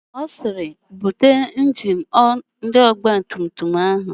Ọ sịrị, "bute injini ọgbatumtum áhụ̀"!